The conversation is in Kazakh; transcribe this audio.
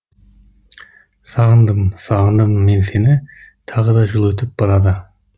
сағындым сағындым мен сені тағыда жыл өтіп барады